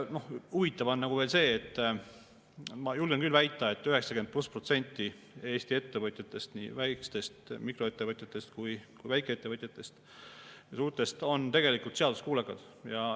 Huvitav on veel see, ma julgen küll väita, et üle 90% Eesti ettevõtjatest, nii mikroettevõtjatest kui ka väikeettevõtjatest ja suurtest on tegelikult seaduskuulekad.